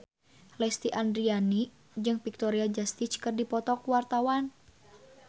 Lesti Andryani jeung Victoria Justice keur dipoto ku wartawan